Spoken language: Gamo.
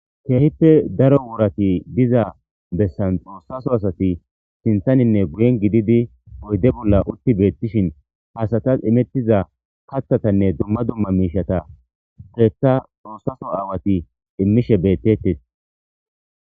keehippe daro worati diza bessan xoossaso asati sintaninne guyen gididi oyde bolla utti beettishin haasatas imettiza kathatanne dumma dumma miishata keeta xoossaso aawati immishe beettettes